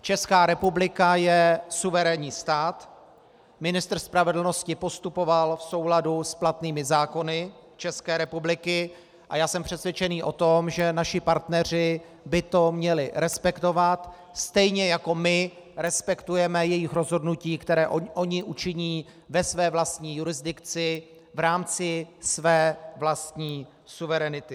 Česká republika je suverénní stát, ministr spravedlnosti postupoval v souladu s platnými zákony České republiky a já jsem přesvědčený o tom, že naši partneři by to měli respektovat, stejně jako my respektujeme jejich rozhodnutí, která oni učiní ve své vlastní jurisdikci v rámci své vlastní suverenity.